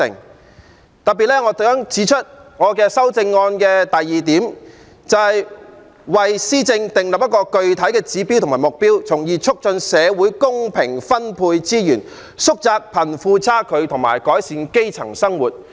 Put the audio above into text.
我特別想指出我修正案的第二點，"為施政訂立具體指標和目標，從而促進社會公平分配資源、縮窄貧富差距和改善基層生活"。